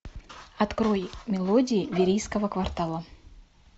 открой мелодии верийского квартала